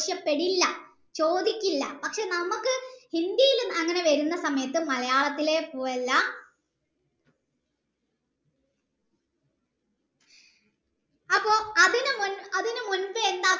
ആവിശ്യപ്പെടില്ല ചോദിക്കില്ല പക്ഷെ നമ്മക് ഹിന്ദിയിലും അങ്ങനെ വരുന്ന സമയത്തു മലയാളത്തിലെ പോലെ അല്ല അപ്പൊ അതിന് മുൻപ് അതിന് മുൻപേ എന്താ